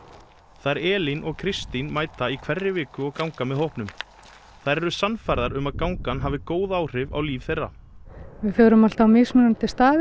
þær Elín og Kristín mæta í hverri viku og ganga með hópnum þær eru sannfærðar um að gangan hafi góð áhrif á líf þeirra við förum alltaf á mismunandi staði